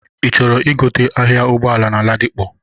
Ị chọrọ igote ahia Ụgbọala na Ladipo?